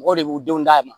Mɔgɔw de b'u denw d'a ma